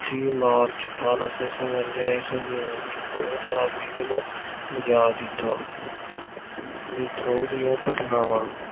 ਤੀਹ ਮਾਰਚ ਅਠ੍ਹਾਰਾਂ ਸੌ ਸਤਵੰਜਾ ਈਸਵੀ ਨੂੰ ਵਿਦਰੋਹ ਦਾ ਬਿਗਲ ਵਜਾ ਦਿੱਤਾ। ਵਿਦਰੋਹ ਦੀਆਂ ਘਟਨਾਵਾਂ।